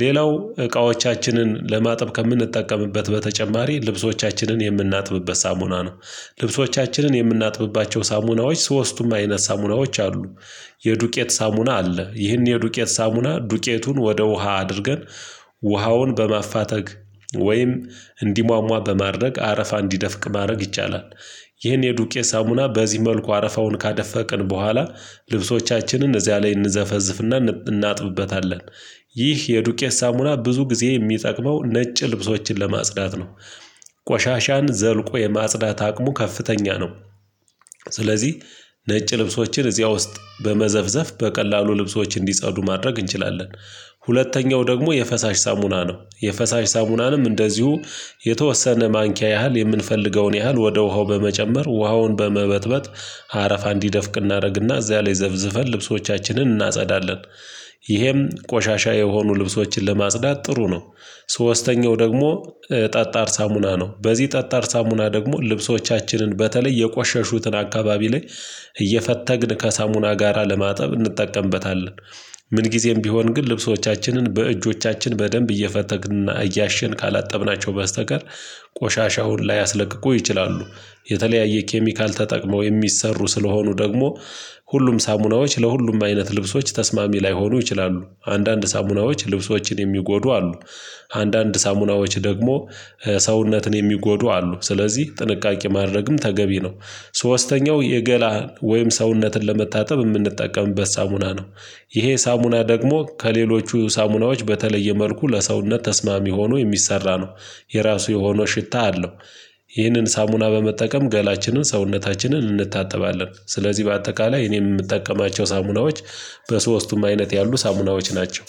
ሌላው እቃዎቻችንን ለማጠብ ከምንጠቀምበት በተጨማሪ ልብሶቻችንን የምናጥብበት ሳሙና ነው። ልብሶቻችንን የምናጥብባቸው ሳሙናዎች ሶስቱም አይነት ሳሙናዎች አሉ። የዱቄት ሳሙና አለ ይህን የዱቄት ሳሙና ዱቄቱን ወደ ውሃ አድርገን ውሃውን በማፋተግ ወይም እንዲሟሟ በማድረግ አረፋ እንዲደፍቅ ማድረግ ይቻላል። ይህን የዱቄ ሳሙና በዚህ መልኩ አረፋውን ካደፈቅን በኋላ ልብሶቻችንን እዚያ ላይ እንዘፈዝፍና እናጥብበታለን። ይህ የዱቄት ሳሙና ብዙ ጊዜ የሚጠቅመው ነጭ ልብሶችን ለማጽዳት ነው። ቆሻሻን ዘልቆ የማጽዳት አቅሙ ከፍተኛ ነው። ስለዚህ ነጭ ልብሶችን እዚያ ውስጥ በመዘፍዘፍ በቀላሉ ልብሶች እንዲጸዱ ማድረግ እንችላለን። ሁለተኛው ደግሞ የፈሳሽ ሳሙና ነው የፈሳሽ ሳሙናንም እንደዚሁ የተወሰነ ማንኪያ ያህል የምንፈልገውን ያህል ወደ ውሃው በመጨመር ውሃውን በመበጥበጥ ሀረፋ እንዲደፍቅ እናደርግና እዚያ ላይ ዘብዝበን ልብሶቻችንን እናጸዳለን። ይህም ቆሻሻ የሆኑ ልብሶችን ለማስጽዳት ጥሩ ነው። ሶስተኛው ደግሞ ጠጣር ሳሙና ነው በዚህ ጠጣር ሳሙና ደግሞ ልብሶቻችንን በተለይ የቆሸሹትን አካባቢ ላይ እየፈተግን ከሳሙና ጋራ ለማጠብ እንጠቀምበታለን። ምን ጊዜም ቢሆን ግን ልብሶቻችንን በእጆቻችን በደንብ እየፈተግንና እያሸን ካላጠብናቸው በስተቀር ቆሻሻውን ላያስለቅቁ ይችላሉ። የተለያየ ኬሚካል ተጠቅመው የሚሰሩ ስለሆኑ ደግሞ ሁሉም ሳሙናዎች ለሁሉም አይነት ልብሶች ተስማሚ ላይሆኑ ይችላሉ አንዳንድ ሳሙናዎች ልብሶችን የሚጎዱ አሉ። አንዳንድ ሳሙናዎች ደግሞ ሰውነትን የሚጎዱ አሉ ስለዚህ ጥንቃቄ ማድረግም ተገቢ ነው። ሶስተኛው የገላ ወይም ሰውነትን ለመታጠብ የምንጠቀምበት ሳሙና ነው። ይሄ ሳሙና ደግሞ ከሌሎቹ ሳሙናዎች በተለየ መልኩ ለሰውነት ተስማሚ ሆኖ የሚሰራ ነው። የራሱ የሆነው ሽታ አለው። ይህንን ሳሙና በመጠቀም ገላችንን ሰውነታችንን እንታጠባለን ስለዚህ በአጠቃላይ እኔም የምጠቀማቸው ሳሙናዎች በሶስቱም አይነት ያሉ ሳሙናዎች ናቸው